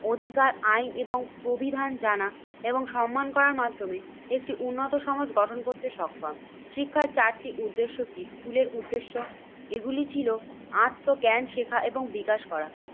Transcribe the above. অধিকার আইন এবং প্রবিধান জানা এবং সম্মান করার মাধ্যমে একটি উন্নত সমাজ গঠন করতে সক্ষম। শিক্ষায় চারটি উদ্দেশ্য কি? স্কুলের উদ্দেশ্য এগুলি ছিল আত্মজ্ঞান শেখা এবং বিকাশ করা